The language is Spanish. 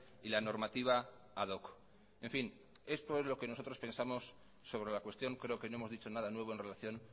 y la normativa ad hoc en fin esto es lo que nosotros pensamos sobre la cuestión creo que no hemos dicho nada nuevo en relación